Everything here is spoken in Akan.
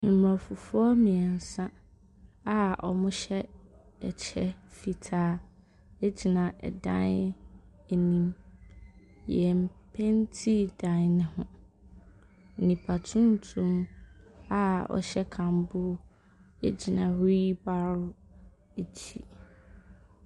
Mmorɔfofoɔ mmiɛnsa a wɔhyɛ kyɛ fitaa gyina dan dan anim. Yɛn mpaintii dan no ho. Nnipa tuntum a ɔhyɛ kambuu gyina wheel barrow akyi.